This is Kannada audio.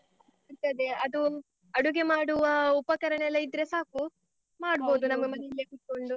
ಬರ್ತದೆ. ಅದೂ ಅಡುಗೆ ಮಾಡುವಾ ಉಪಕರಣ ಎಲ್ಲ ಇದ್ರೆ ಸಾಕು. ನಮ್ಮ ಮನೆಯಲ್ಲಿಯೇ ಕೂತ್ಕೊಂಡು.